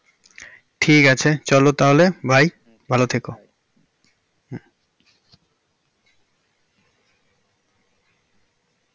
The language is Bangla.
ঠিক আছে চলো তাহলে bye ভালো থেকো।